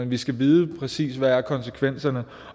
vi skal vide præcis hvad konsekvenserne